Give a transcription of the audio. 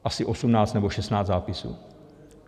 Asi osmnáct nebo šestnáct zápisů.